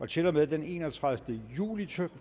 til og med den enogtredivete juli to